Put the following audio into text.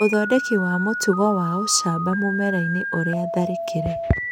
ũthondeki wa mũtugo wa ũcamba mũmera-inĩ iria tharĩkĩre